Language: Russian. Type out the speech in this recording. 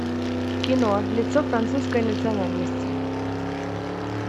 кино лицо французской национальности